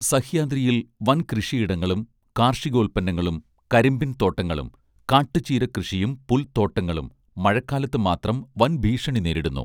സഹ്യാദ്രിയിൽ വൻകൃഷിയിടങ്ങളും കാർഷികോത്പന്നങ്ങളും കരിമ്പിൻ തോട്ടങ്ങളും കാട്ട്ചീര കൃഷിയും പുൽത്തോട്ടങ്ങളും മഴക്കാലത്ത് മാത്രം വൻഭീഷണി നേരിടുന്നു